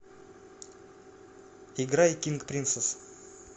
играй кинг принцесс